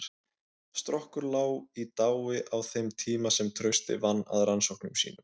Strokkur lá í dái á þeim tíma sem Trausti vann að rannsóknum sínum.